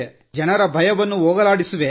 ಜನರ ಭಯವನ್ನು ಹೋಗಲಾಡಿಸುವೆ